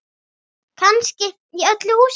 Kannski í öllu húsinu.